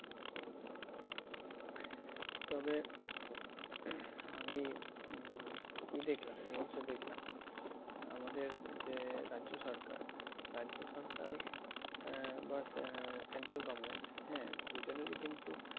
তবে আমি উম কি দেখলাম? news এ দেখলাম, আমাদের যে রাজ্য সরকার রাজ্য সরকার আহ বা central government হ্যাঁ? দুজনেরই কিন্তু